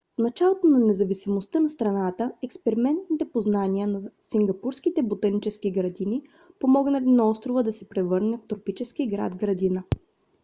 в началото на независимостта на страната експертните познания на сингапурските ботанически градини помогнали на острова да се превърне в тропически град-градина